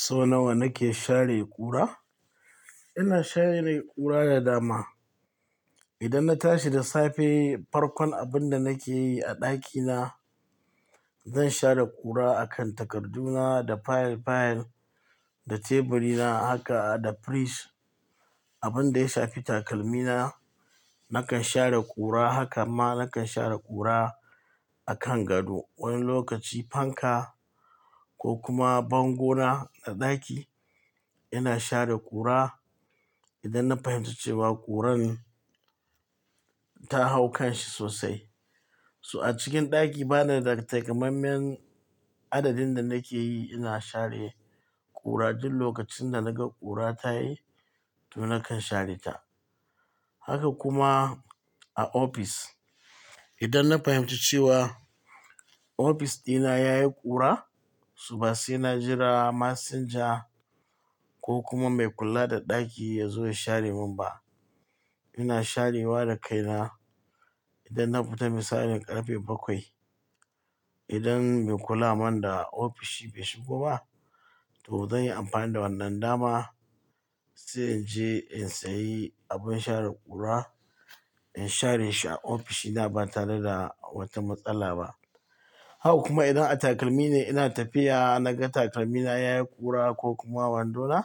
So nawa nake share ƙura? Ina share ƙura da dama. Idan na tashi da safe, farkon abin da nake yi a ɗakina, zan share ƙura a kan takarduna da fayil-fayil, da teburina haka da firij. Abin da ya shafi takalmina, nakan share ƙura. Haka ma nakan share ƙura a kan gado. Wani lokaci fanka ko kuma bango na a ɗaki ina share ƙura idan na fahimci cewa ƙuran ta hau kanshi sosai. So a cikin ɗaki bana da takamaiman adadin da nake yi. Ina share ƙura duk lokacin da naga ƙura ta yi to nakan share ta. Haka kuma a ofis. Idan na fahimci cewa ofis dina ya yi ƙura, su basai na jira masinja ko kuma mai kula da ɗaki ya zo ya share min ba, ina sharewa da kaina. Idan na fita misalin ƙarfe bakwai, idan mai kula man da ofishi bai shigo ba, to zan yi amfani da wannan dama sai in je in sayi abin share ƙura, in share shi a ofishina ba tare da wata matsala ba. Haka kuma idan a takalmi ne ina tafiya naga takalmina ya yi ƙura ko kuma wando na,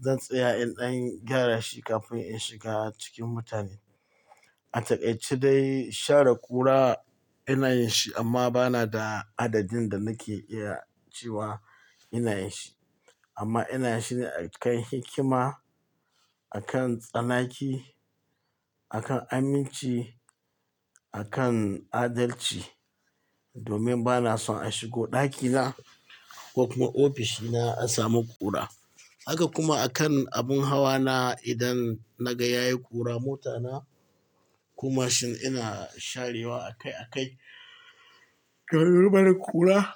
zan tsaya in gyara shi kafin in shiga cikin mutane. A takaice dai share ƙura ina yin shi amma bana da adadin da nake iya cewa ina yin shi. Amma ina yin shi ne a kan hikima, a kan tsanaki, a kan aminci, a kan adalci domin bana son a shigo ɗakina ko kuma ofishina a samu ƙura. Haka kuma a kan abin hawa na. Idan naga ya yi ƙura mota na ko mashin ina sharewa akai akai. Barin ƙura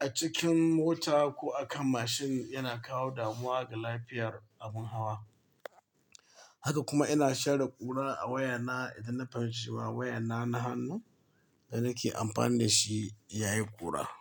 a cikin mota ko a kan mashin yana kawo damuwa ga lafiyar abin hawa. Haka kuma ina share ƙura a wayana idan na fahimci cewa wayana na hannu da nake amfani da shi ya yi ƙura.